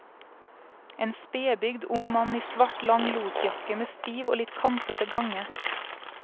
En spedbygd ung mann i svart, lang losjakke med stiv og litt kantete gange.